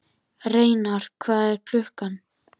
Reynar, hvað er klukkan?